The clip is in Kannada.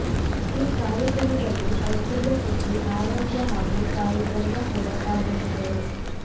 ಈ ಕಾರ್ಯಕ್ರಮದಲ್ಲಿ ಐಶ್ವರ್ಯಾ ಪುತ್ರಿ ಆರಾಧ್ಯ ಹಾಗು ತಾಯಿ ಬೃಂದಾ ಕೂಡಾ ಪಾಲ್ಗೊಂಡಿದ್ದರು